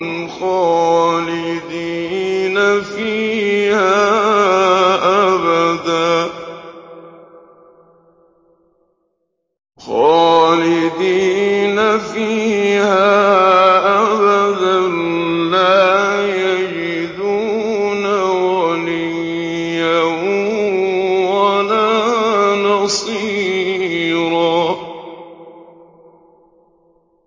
خَالِدِينَ فِيهَا أَبَدًا ۖ لَّا يَجِدُونَ وَلِيًّا وَلَا نَصِيرًا